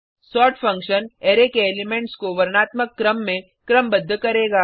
sort function array के elements को वर्णात्मक क्रम में क्रमबद्ध करेगा